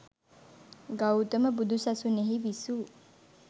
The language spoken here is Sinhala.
ගෞතම බුදු සසුනෙහි විසූ